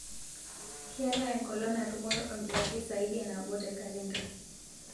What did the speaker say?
keetae enkolong' natumore olkitarri saidi e nabo te kalenda